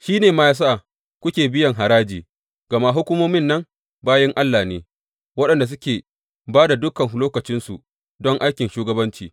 Shi ne ma ya sa kuke biyan haraji, gama hukumomin nan bayin Allah ne, waɗanda suke ba da dukan lokacinsu don aikin shugabanci.